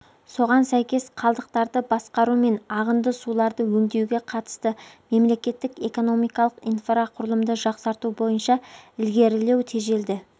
соған сәйкес қалдықтарды басқару мен ағынды суларды өңдеуге қатысты мемлекеттік экономикалық инфрақұрылымды жақсарту бойынша ілгерілеу тежелді